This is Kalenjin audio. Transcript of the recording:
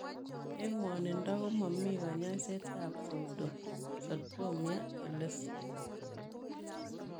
Eng ngwonindoo komamii kanyaiseet ap Pseudoxatomia elestkam.